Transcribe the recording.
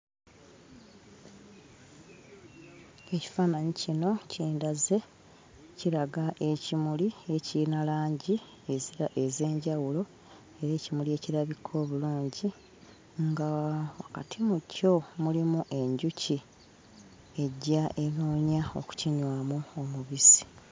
Ekifaananyi kino kindaze, kiraga ekimuli ekiyina langi ez'enjawulo ez'ekimuli ekirabika obulungi nga wakati mu kyo mulimu enjuki ejja enoonya okukinywamu omubisi.